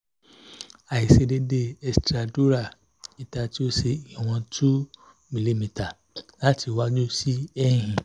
aiṣedeede extradural ita ti o ṣe iwọn two mìlímità lati iwaju si ẹ̀yìn